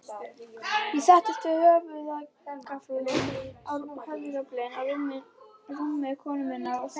Ég settist við höfðagaflinn á rúmi konu minnar og sagði